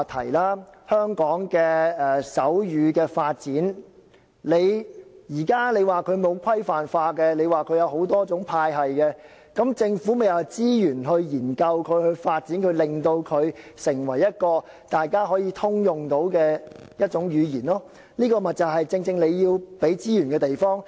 既然說現時香港的手語發展沒有規範化，有多種派系，政府便要用資源作出研究、發展，令手語成為大家可以通用的一種語言，這就正正是政府要提供資源的地方。